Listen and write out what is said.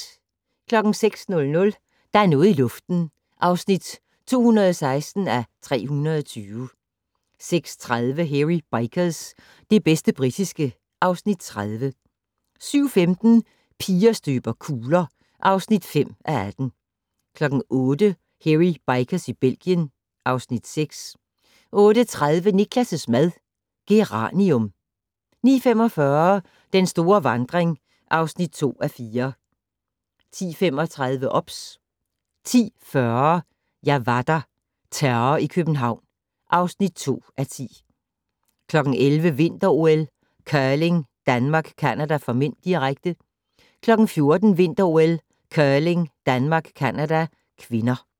06:00: Der er noget i luften (216:320) 06:30: Hairy Bikers - det bedste britiske (Afs. 30) 07:15: Piger støber kugler (5:18) 08:00: Hairy Bikers i Belgien (Afs. 6) 08:30: Niklas' mad - Geranium 09:45: Den store vandring (2:4) 10:35: OBS 10:40: Jeg var der - Terror i København (2:10) 11:00: Vinter-OL: Curling - Danmark-Canada (m), direkte 14:00: Vinter-OL: Curling - Danmark-Canada (k)